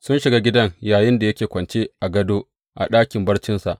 Sun shiga gidan yayinda yake kwance a gado a ɗakin barcinsa.